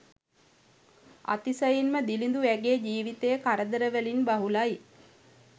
අතිශයින්ම දිළිදු ඇගේ ජීවිතය කරදරවලින් බහුලයි